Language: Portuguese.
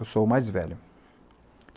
Eu sou o mais velho.